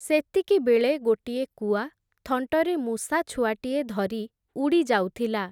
ସେତିକିବେଳେ ଗୋଟିଏ କୁଆ, ଥଣ୍ଟରେ ମୂଷାଛୁଆଟିଏ ଧରି, ଉଡ଼ିଯାଉଥିଲା ।